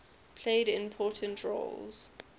played important roles